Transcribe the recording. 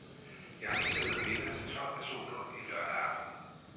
Jeg har lige serveret middag til tolv personer en lørdag aften.